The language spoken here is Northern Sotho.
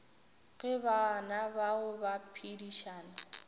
ge bana bao ba phedišana